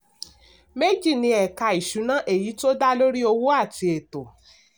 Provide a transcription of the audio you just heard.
méjì ni ẹ̀ka ìṣúná: èyí tó dá lórí owó àti ètò.